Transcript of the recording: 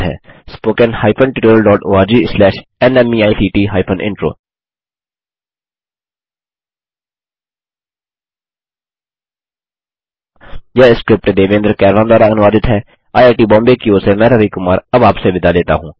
spoken hyphen tutorial dot org slash NMEICT hyphen intro यह script Devendra Kairwan द्वारा अनुवादित है आईआईटी बॉम्बे की ओर से मैं रवि कुमार अब आपसे विदा लेता हूँ